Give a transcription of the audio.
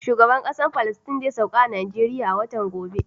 Shugaban Kasa Palestine zai sauka a Najeriya a watan gobe.